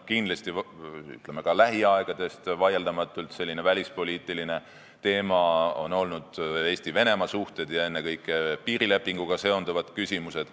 Kindlasti, ütleme, on lähiaegadel vaieldamatult sellised välispoliitilised teemad olnud Eesti ja Venemaa suhted ning ennekõike piirilepinguga seonduvad küsimused.